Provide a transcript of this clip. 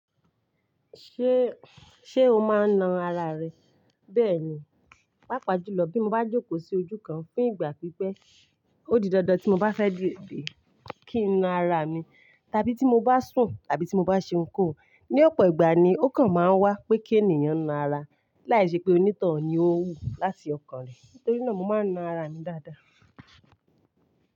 Ṣé, Ṣé o máa ń na ara rẹ? Bẹ́ẹ̀ni, pàápàá jùlọ bí mo bá jókòó sí ojú kan fún ìgbà pípẹ́, ó di dandan tí mo bá fẹ́ dìbì kí n na ara mi, tàbí tí mo bá sùn tàbí tí mo bá ṣe ohun kóhun Ni ọ̀pọ̀ ìgbà ni ó kan máa ń wá pé kí ènìyàn na ara, láìṣe pé onítọ̀hún ni ó wú láti ọkàn rẹ̀. Nítorí náà, mo máa ń na ara mi dáadáa.